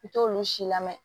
I t'olu si lamɛ